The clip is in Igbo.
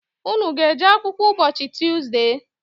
Unu ga-eje akwụkwọ ụbọchị Tuzde?